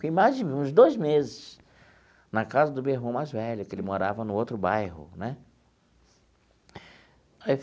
Fiquei mais de uns dois meses na casa do meu irmão mais velho, que ele morava no outro bairro né aí.